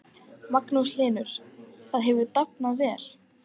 Magnús Hlynur: Það hefur dafnað vel?